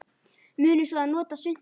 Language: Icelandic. Munum svo að nota svuntu.